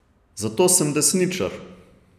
Zato sem desničar.